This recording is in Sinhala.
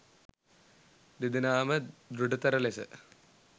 දෙදෙනා ම දෘඪතර ලෙස